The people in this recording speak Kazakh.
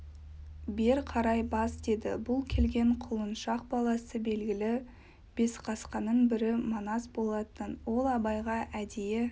бер қарай бас деді бұл келген құлыншақ баласы белгілі бесқасқаның бірі манас болатын ол абайға әдейі